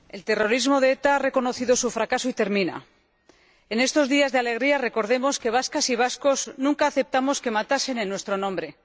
Señor Presidente, el terrorismo de ETA ha reconocido su fracaso y termina. En estos días de alegría recordemos que vascas y vascos nunca aceptamos que matasen en nuestro nombre.